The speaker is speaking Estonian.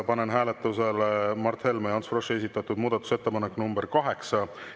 Panen hääletusele Mart Helme ja Ants Froschi esitatud muudatusettepaneku nr 8.